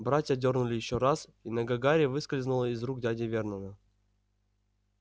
братья дёрнули ещё раз и нога гарри выскользнула из рук дяди вернона